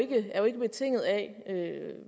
ikke betinget af